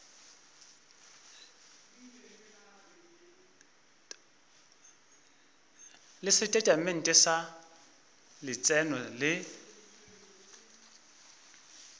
le setatamente sa letseno le